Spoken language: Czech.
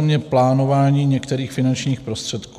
mě plánování některých finančních prostředků.